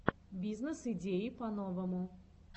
бизнес идеи по новому